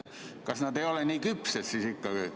Kas nad ei ole siis ikka nii küpsed või?